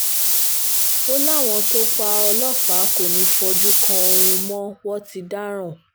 ó láwọn tó pa ọlọ́pàá kò ní í fojú kan oòrùn mọ́ wọn ti dáràn